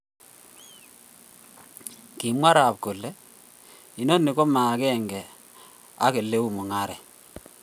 Kumwa Raab kole, " Inoni koma agenge ak oleu mung'aret."